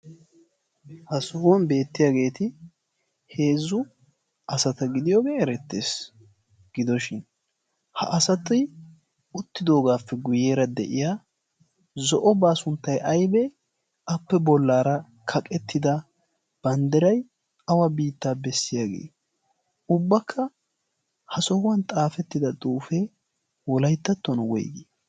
Ha sohuwan beettiyaageeti 'heezzu asata gidiyoogee erettees gidoshin ha asati ottidoogaappe guyyeera de'iya zo'o baa sunttai aibee appe bollaara kaqettida banddirai awa biittaa bessiyaagee ubbakka ha sohuwan xaafettida xuufee olaittattona woigii?